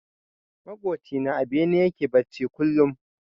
Maƙoci na a bene yake bacci kullum.